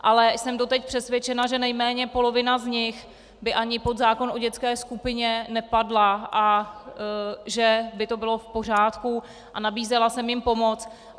Ale jsem doteď přesvědčena, že nejméně polovina z nich by ani pod zákon o dětské skupině nepadla a že by to bylo v pořádku, a nabízela jsem jim pomoc.